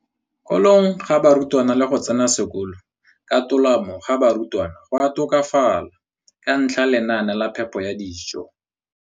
kolong ga barutwana le go tsena sekolo ka tolamo ga barutwana go a tokafala ka ntlha ya lenaane la phepo ya dijo.